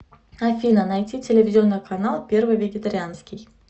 афина найти телевизионный канал первый вегетарианский